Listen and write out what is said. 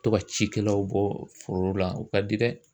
To ka cikɛlaw bɔ foro la u ka di dɛ.